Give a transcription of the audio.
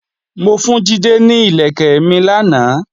Mo fún Jídé ní ìlẹ̀kẹ̀ mi lánàá